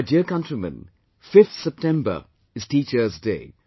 My dear countrymen, 5th September is 'Teachers Day'